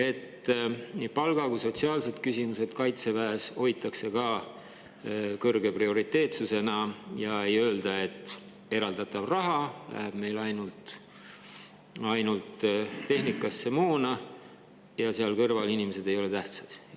Kas nii palk kui ka sotsiaalsed küsimused on Kaitseväes kõrge prioriteetsusega ja ei öelda, et eraldatav raha läheb meil ainult tehnikasse, moona, inimesed seal kõrval ei ole tähtsad?